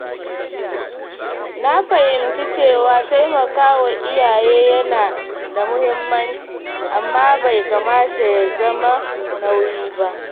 Na fahimci cewa taimakawa iyaye yana da muhimmanci amma bai kamata ya zama nauyi ba.